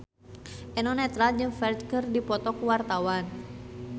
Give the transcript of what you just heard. Eno Netral jeung Ferdge keur dipoto ku wartawan